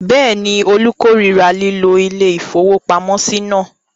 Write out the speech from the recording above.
Bẹ́ẹ̀ ni, Olú korira lílo ilé-ìfowópamọ́sí náà.